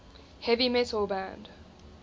heavy metal band